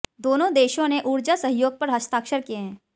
दोनों देशों ने ऊर्जा सहयोग पर हस्ताक्षर किए हैं